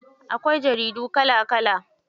Akwai jaridu kala kala.